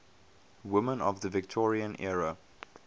women of the victorian era